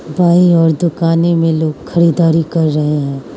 बाईं ओर दुकानें में लोग खरीदारी कर रहे हैं।